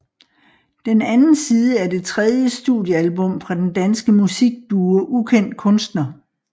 Den Anden Side er det tredje studiealbum fra den danske musikduo Ukendt Kunstner